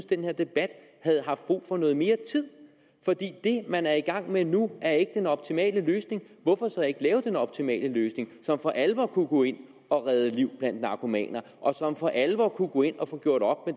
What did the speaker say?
den her debat havde haft brug for noget mere tid for det man er i gang med nu er ikke den optimale løsning hvorfor så ikke lave den optimale løsning som for alvor kunne gå ind og redde liv blandt narkomaner og som for alvor kunne gå ind og få gjort op